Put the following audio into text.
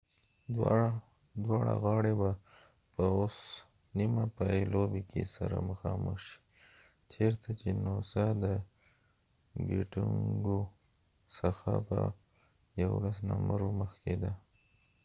دواړه غاړی به په اوس نیمه پای لوبې کې سره مخامخ شي چېرته چې نوسا noosaدګټونګو څخه په 11 نمرو مخکې ده